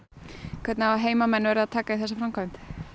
hvernig hafa heimamenn verið að taka í þessa framkvæmd